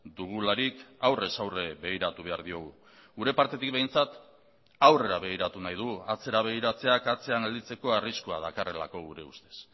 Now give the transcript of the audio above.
dugularik aurrez aurre begiratu behar diogu gure partetik behintzat aurrera begiratu nahi dugu atzera begiratzeak atzean gelditzeko arriskua dakarrelako gure ustez